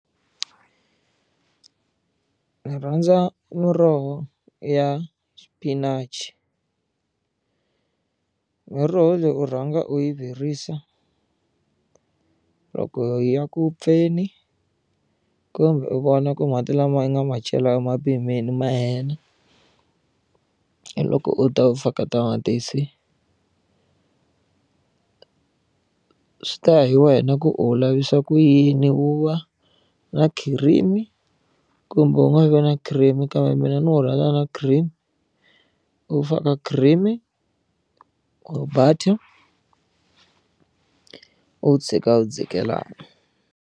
Ndzi rhandza muroho ya xipinachi miroho leyi u rhanga u yi virisa loko yi ya ku vupfuneni kumbe u vona ku mati lama nga ma cela u ma pimile ma hela hi loko u ta u faka tamatisi swi ta ya hi wena ku u wu lavisa ku yini wu va na cream kumbe wu nga vi na cream kambe mina ndzi wu rhandza na cream u faka cream or butter u wu tshika wu dzikelana.